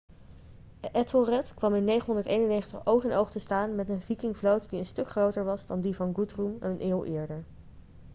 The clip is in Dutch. ethelred kwam in 991 oog in oog te staan met een vikingvloot die een stuk groter was dan die van guthrum een eeuw eerder